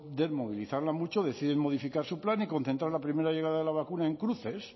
poder movilizarla mucho deciden modificar su plan y concentrar la primera llegada de la vacuna en cruces